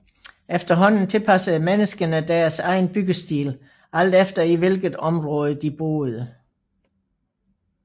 Efterhånden tilpassede menneskene deres egen byggestil alt efter i hvilket område de boede